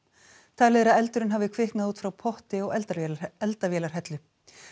talið er að eldurinn hafi kviknað út frá potti á eldavélarhellu eldavélarhellu